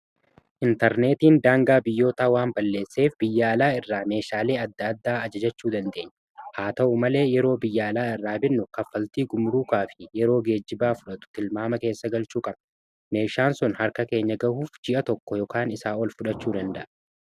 intarneetiin daangaa biyyootaa waan balleesseef biyya alaa irraa meeshaalee adda addaa ajajachuu dandeenyu haa ta'u malee yeroo biyya alaa irraa binnu kaffaltii gumuruukaa fi yeroo geejjibaa fudhatu kilmaama keessa galchuu kame meeshaan sun harka keenya gahuuf ji'a tokko yookan isaa ol fudhachuu danda'a